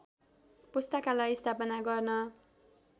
पुस्तकालय स्थापना गर्न